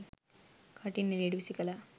කටින් එළියට වීසිකලා.